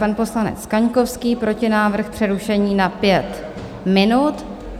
Pan poslanec Kaňkovský, protinávrh přerušení na 5 minut.